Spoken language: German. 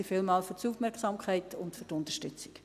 Vielen Dank für die Unterstützung.